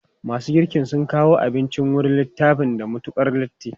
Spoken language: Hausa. Masu girkin sun kawo abinci wurin littafan da matukar latti.